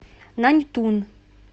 наньтун